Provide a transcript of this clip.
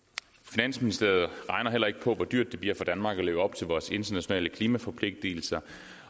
finansministeriet regner heller ikke på hvor dyrt det bliver for danmark at leve op til vores internationale klimaforpligtelser